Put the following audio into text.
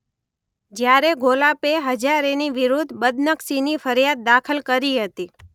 જ્યારે ઘોલાપે હજારેની વિરૂદ્ધ બદનક્ષીની ફરિયાદ દાખલ કરી હતી.